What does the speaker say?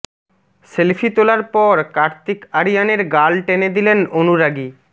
selfie তোলার পর কার্তিক আরিয়ানের গাল টেনে দিলেন অনুরাগী